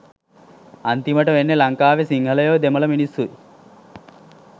අන්තිමට වෙන්නේ ලංකාවේ සිංහලයොයි දෙමල මිනිස්සුයි